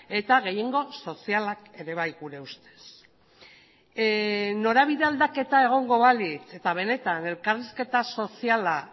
eta gehiengo sozialak ere bai gure ustez norabide aldaketa egongo balitz eta benetan elkarrizketa soziala